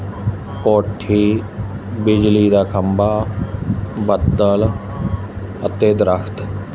ਕੋਠੀ ਬਿਜਲੀ ਦਾ ਖੰਭਾ ਬੱਦਲ ਅਤੇ ਦਰਖਤ।